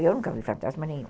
Eu nunca vi fantasma nenhum.